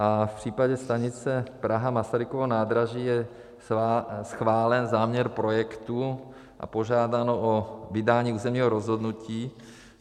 A v případě stanice Praha-Masarykovo nádraží je schválen záměr projektu a požádáno o vydání územního rozhodnutí.